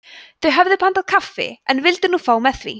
þau höfðu pantað kaffi en vildu nú fá með því